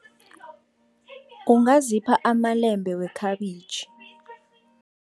Ungazipha amalembe wekhabitjhi.